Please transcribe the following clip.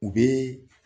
U bɛ